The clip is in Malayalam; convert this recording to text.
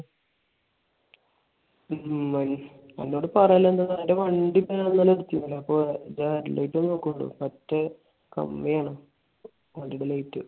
ഉം അന്നോട് പറഞ്ഞില്ലാല ഞാൻ. എന്റെ വണ്ടി ഇപ്പൊ ഇന്നലെ ഒന്ന് ഇടിച്ച്. അപ്പൊ അതിന്റെ headlight പോയൊള്ളൂ. മറ്റേ കമ്മിയാണ്. വണ്ടിയുടെ light